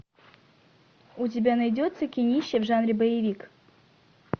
у тебя найдется кинище в жанре боевик